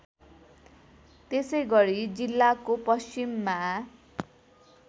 त्यसैगरी जिल्लाको पश्चिममा